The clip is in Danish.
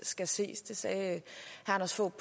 skal ses det sagde herre anders fogh